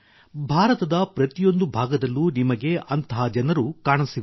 ಭಾರತದ ಪ್ರತಿಯೊಂದು ಭಾಗದಲ್ಲೂ ನಿಮಗೆ ಅಂತಹ ಜನರು ಕಾಣಸಿಗುತ್ತಾರೆ